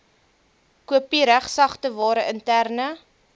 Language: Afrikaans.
kopiereg sagteware interne